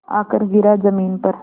आकर गिरा ज़मीन पर